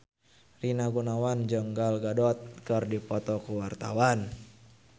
Rina Gunawan jeung Gal Gadot keur dipoto ku wartawan